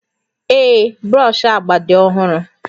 Ee, brọsh agba dị ọhụrụ